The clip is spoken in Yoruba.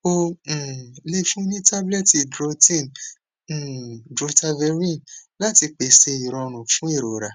o um le fun ni tablet drotin um drotaverine lati pese irorun fun irora